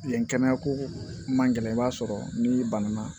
Yen kɛnɛya ko man gɛlɛn i b'a sɔrɔ n'i banana